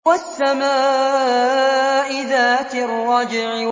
وَالسَّمَاءِ ذَاتِ الرَّجْعِ